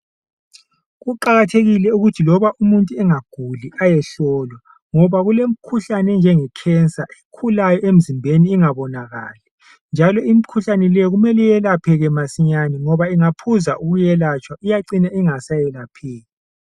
Kuqakathekile ukuthi loba umuntu engaguli ayehlolwa ngoba kulemikhuhlane enjenge cancer ekhulayo emzimbeni ingabonakali njalo imikhuhlane le kumele iyelaphake masinyane ngoba ingaphuza ukwelatshwa iyacina ingasayelapheki.